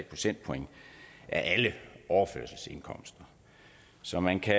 procentpoint af alle overførselsindkomster så man kan